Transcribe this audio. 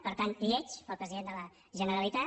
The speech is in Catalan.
per tant lleig pel president de la generalitat